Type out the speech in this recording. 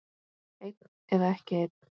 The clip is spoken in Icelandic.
Einn eða ekki einn.